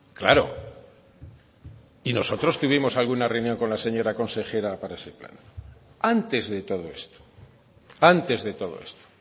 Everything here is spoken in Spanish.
claro y nosotros tuvimos alguna reunión con la señora consejera para ese plan antes de todo esto antes de todo esto